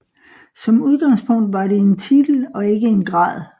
Som udgangspunkt var det en titel og ikke en grad